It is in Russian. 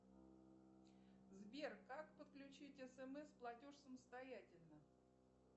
сбер как подключить смс платеж самостоятельно